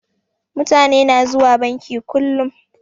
Mutani na zuwa banki kullum